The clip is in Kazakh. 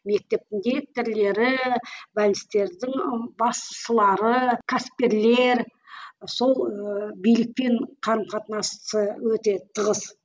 мектептің директорлары бәлністердің басшылары кәсіпкерлер сол ыыы билікпен қарым қатынасы өте тығыз